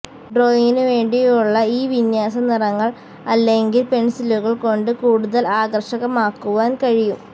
ഡ്രോയിംഗിനുവേണ്ടിയുള്ള ഈ വിന്യാസം നിറങ്ങൾ അല്ലെങ്കിൽ പെൻസിലുകൾ കൊണ്ട് കൂടുതൽ ആകർഷകമാക്കുവാൻ കഴിയും